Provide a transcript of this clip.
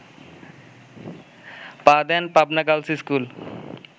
পা দেন Pabna girls school